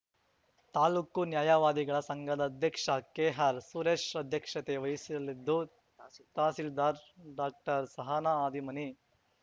ತಾಲೂಕು ನ್ಯಾಯವಾದಿಗಳ ಸಂಘದ ಅಧ್ಯಕ್ಷ ಕೆಆರ್‌ಸುರೇಶ್‌ ಅಧ್ಯಕ್ಷತೆ ವಹಿಸಲಿದ್ದು ತಾಸಿಲ್ ತಹಸಿಲ್ದಾರ್‌ ಡಾಕ್ಟರ್ಸಹನಾ ಹಾದಿಮನಿ